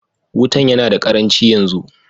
Wutan yana da ƙaranchi yanzu.